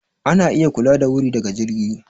Ana iya kula da wuri daga jirgi.